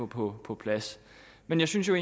på på plads men jeg synes jo